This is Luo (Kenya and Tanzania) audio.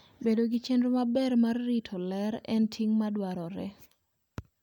Bedo gi chenro maber mar rito ler en ting ' madwarore.